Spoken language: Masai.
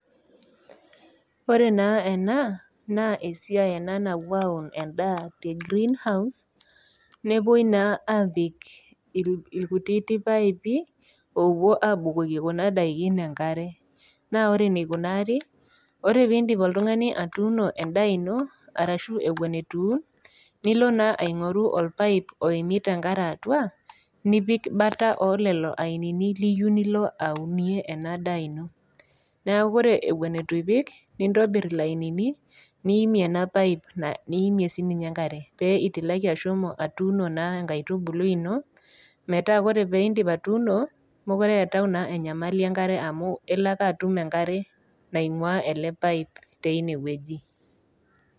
Ore naa ena naa esiai nawoi naa aun endaa te green house newoi naa apik ilkutiti paipi owo abukoki kuna daikin enkare, na ore eneikunari, ore pee indip oltung'ani atuuno endaa ino ashu ewen eitu iun, nilo naa aing'oru olpaip oimita engare atua nipik bata olelo ainini liyeu nilo aunie ena daa ino. Neaku ore ewen eitu ipik, nintori ilainini niime ele paip, niime siininye engare pitilaki ashomo atuuno enkaitubulu ino ore pee indip atuuno, mekure eatayu enyamali enkare amu elo ake atum enkare naing'ua ele paip teine wueji.